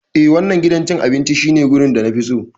Ee, wannan gidan cin abinci shine wurin da na fi so.